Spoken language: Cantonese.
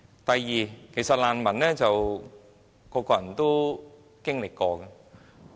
第二點，其實難民生活是很多人都經歷過的。